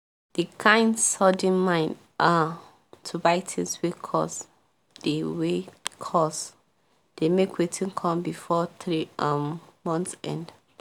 the kind sudden mind um to buy things wey cost dey wey cost dey make wetin come before three um months end